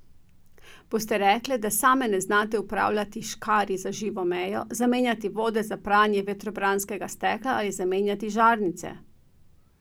Boste rekle, da same ne znate upravljati škarij za živo mejo, zamenjati vode za pranje vetrobranskega stekla ali zamenjati žarnice?